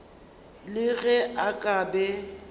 le ge a ka be